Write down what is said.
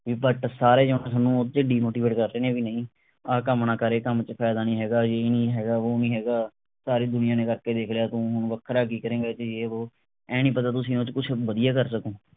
but ਸਾਰੇ ਜਣੇ ਥੋਨੂੰ ਓਹਦੇ ਤੇ demotivate ਕਰ ਰਹੇ ਨੇ ਵੀ ਨਹੀਂ ਆਹ ਕੰਮ ਨਾ ਕਰ ਇਹ ਕੰਮ ਚ ਫਾਇਦਾ ਨਹੀਂ ਹੈਗਾ ਯੇ ਨਹੀਂ ਹੈਗਾ ਵੋ ਨਹੀਂ ਹੈਗਾ ਸਾਰੀ ਦੁਨੀਆਂ ਨੇ ਕਰ ਕੇ ਵੇਖ ਲਿਆ ਤੂੰ ਹੁਣ ਵੱਖਰਾ ਕਿ ਕਰੇਂਗਾ ਯੇ ਵੋ ਆਏਂ ਨਹੀਂ ਪਤਾ ਤੁਸੀਂ ਉਸਤੋਂ ਕੁਛ ਵਧੀਆ ਕਰ ਸਕੋਂ